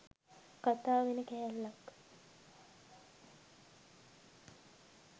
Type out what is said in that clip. කතා වෙන කෑල්ලක්.